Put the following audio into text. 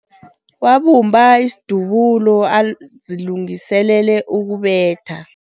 Wabumba isidubulo azilungiselele ukubetha.